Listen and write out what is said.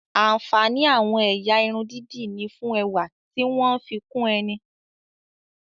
Ààǹfàní àwọn ẹ̀yà irun dídì ni fún ẹwà tí wọ́n ń fi kún ẹni